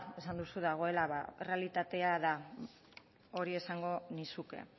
esan duzu dagoela ba errealitatea da hori esango nizuke